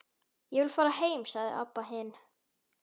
Ég vil fara heim, sagði Abba hin.